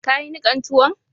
Ka yi nikan tuwon?